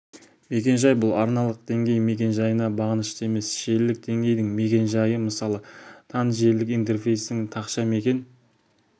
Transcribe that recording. мекен-жай бұл арналық деңгей мекен-жайына бағынышты емес желілік денгейдің мекен-жайы мысалы тан желілік интерфейстің тақша мекен